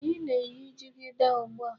Anyi na- eyi jigida ugbu a?